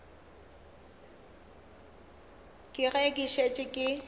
ke ge ke šetše ke